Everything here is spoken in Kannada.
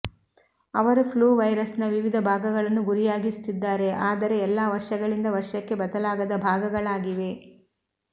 ಅವರು ಫ್ಲೂ ವೈರಸ್ನ ವಿವಿಧ ಭಾಗಗಳನ್ನು ಗುರಿಯಾಗಿಸುತ್ತಿದ್ದಾರೆ ಆದರೆ ಎಲ್ಲಾ ವರ್ಷಗಳಿಂದ ವರ್ಷಕ್ಕೆ ಬದಲಾಗದ ಭಾಗಗಳಾಗಿವೆ